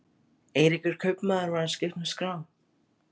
Eiríkur kaupmaður var að skipta um skrá.